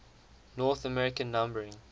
north american numbering